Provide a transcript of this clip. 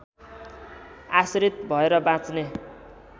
आश्रित भएर बाँच्ने